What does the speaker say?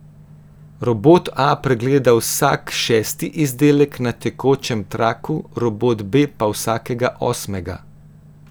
Robot A pregleda vsak šesti izdelek na tekočem traku, robot B pa vsakega osmega.